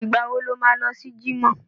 Ìgbà wo lo má lọ sí jímọ̀?